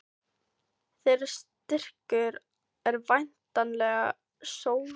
Þeirra styrkur er væntanlega sóknarleikurinn, eða hvað?